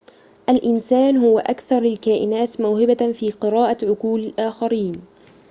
الإنسان هو أكثر الكائنات موهبةً في قراءة عقول الآخرين